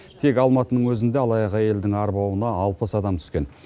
тек алматының өзінде алаяқ әйелдің арбауына алпыс адам түскен